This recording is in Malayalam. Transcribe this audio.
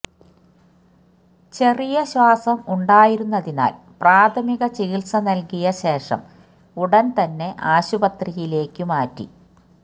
ചെറിയ ശ്വാസം ഉണ്ടായിരുന്നതിനാല് പ്രാഥമിക ചികിത്സ നല്കിയ ശേഷം ഉടന് തന്നെ ആശുപത്രിയിലേക്ക് മാറ്റി